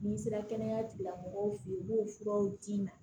N'i sera kɛnɛya tigi lamɔgɔw fɛ yen u b'o furaw d'i ma